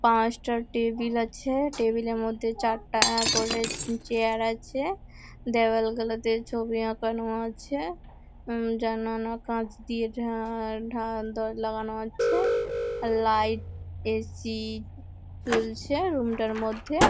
পাঁচটা টেবিল আছে। টেবিল -এর মধ্যে চারটা করে চেয়ার আছে। দেয়ালগুলো তে ছবি আছে। উমম লাগানো আছে। লাইট এ.সি চলছে রুম -টার মধ্যে।